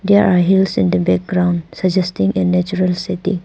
There are hills in the background suggesting a natural city.